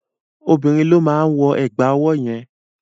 Obìnrin ló máa wọ ẹ̀gbà ọwọ́ yẹn.